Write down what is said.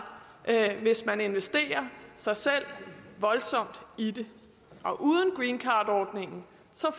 hvis man investerer sig selv voldsomt i det uden greencardordningen